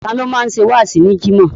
Tani ó máa ń ṣe wáàsí ní Jimoh?